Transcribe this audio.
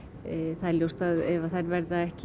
það er ljóst að ef að þær verða ekki í